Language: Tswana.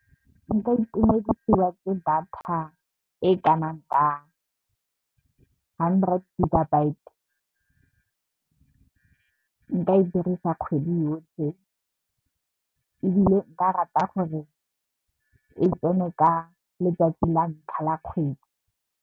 Nka itumedisiwa ke data e kanang ka hundred gigabyte nka e dirisa kgwedi yotlhe. Ebile, nka rata gore e tsene ka letsatsi la ntlha la kgwedi.